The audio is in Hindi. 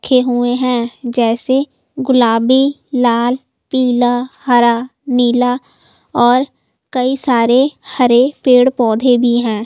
लिखे हुए हैं जैसे गुलाबी लाल पीला हरा नीला और कई सारे हरे पेड़-पौधे भी हैं।